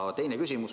Aga tahan veel küsida.